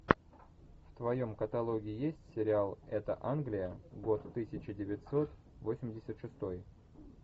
в твоем каталоге есть сериал это англия год тысяча девятьсот восемьдесят шестой